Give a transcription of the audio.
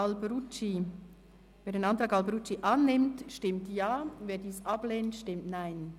Wer den Antrag Alberucci annimmt, stimmt Ja, wer diesen ablehnt, stimmt Nein.